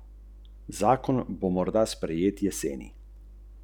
Spet, se je razjezil, spet se pogovarjam z njo.